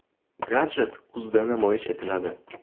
Gadjet kuzda namoyish etiladi.